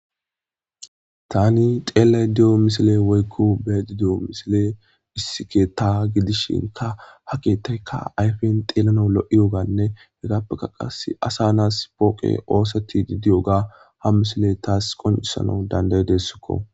Tani xeellay di'o misile woykko beedi di'o misile issike ta gidishinka ha keettayka ayfen xeelano lo'iyoganne hegappeka qas asa nas pooqe ooseti didiyoga ha misile taas qoncisana dandayidessikko.